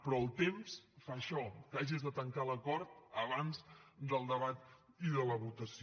però el temps fa això que hagis de tancar l’acord abans del debat i de la votació